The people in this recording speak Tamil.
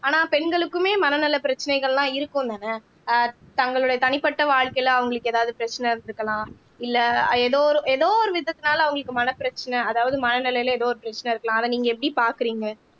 ஆனா பெண்களுக்குமே மனநல பிரச்சனைகள்லாம் இருக்கும்தானே ஆஹ் தங்களுடைய தனிப்பட்ட வாழ்க்கையில அவங்களுக்கு ஏதாவது பிரச்சனை இருந்திருக்கலாம் இல்ல ஏதோ ஒரு ஏதோ ஒரு விதத்தினால அவங்களுக்கு மனப்பிரச்சனை அதாவது மனநிலையில ஏதோ ஒரு பிரச்சனை இருக்கலாம் அதை நீங்க எப்படி பாக்குறீங்க